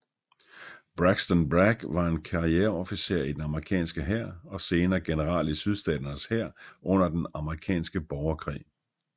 Braxton Bragg var en karriereofficer i den amerikanske hær og senere general i Sydstaternes hær under den amerikanske borgerkrig